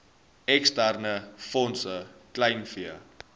eksterne fondse kleinvee